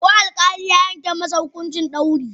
Ko alkali ya yanke masa hukuncin dauri?